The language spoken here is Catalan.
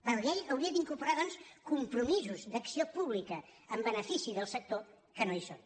la llei hauria d’incorporar doncs compromisos d’acció pública en benefici del sector que no hi són